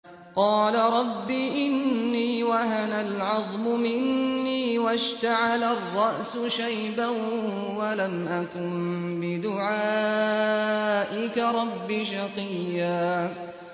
قَالَ رَبِّ إِنِّي وَهَنَ الْعَظْمُ مِنِّي وَاشْتَعَلَ الرَّأْسُ شَيْبًا وَلَمْ أَكُن بِدُعَائِكَ رَبِّ شَقِيًّا